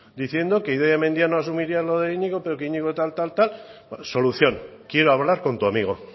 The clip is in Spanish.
diciendo que idoia mendia no asumiría lo de iñigo pero que iñigo tal tal tal solución quiero hablar con tu amigo